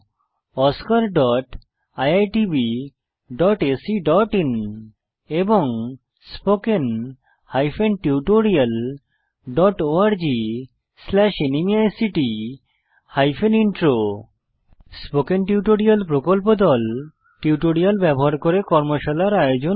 oscariitbacআইএন এবং spoken tutorialorgnmeict intro spoken tutorial প্রকল্প দল টিউটোরিয়াল ব্যবহার করে কর্মশালার আয়োজন করে